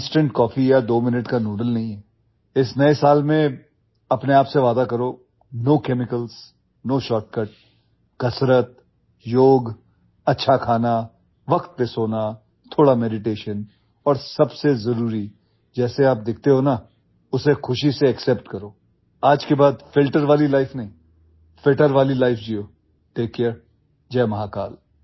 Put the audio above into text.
instant coffee या दो minute का નૂડલ नहीं है इस नए साल में अपने आप से वादा करो નો કેમિકલ્સ નો શોર્ટકટ कसरत योग अच्छा खाना वक्त पर सोना थोडा મેડિટેશન और सब से जरूरी जैसे आप दिखते हो ना उसे खुशी से એક્સેપ્ટ करो आज के बाद ફિલ્ટર वाली લાઇફ नहीं ફિટર वाली લાઇફ जियो ટેક કેર जय महाकाल